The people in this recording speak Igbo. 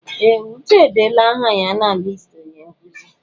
Ee! Uche edeela aha ya na listi onye nkụzi.